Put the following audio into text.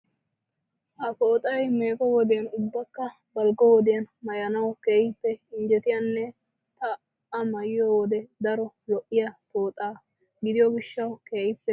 Ha pooxay meego wodiyan ubbakka balggo wodiyan maayanawu keehippe injjetiyanne ta A maayiyo wode daro lo"iya pooxa gidiyo gishshawu keehippe dosays.